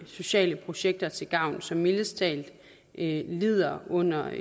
sociale projekter til gavn som mildest talt lider under